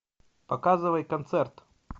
показывай концерт